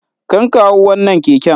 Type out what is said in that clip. Karka hau wannan keken.